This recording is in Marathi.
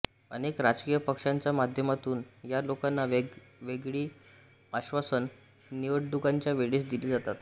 अनेक राजकीय पक्षांच्या माध्यमातून या लोकांना वेगवेगळी आश्वासनं निवडणुकांच्या वेळेस दिली जातात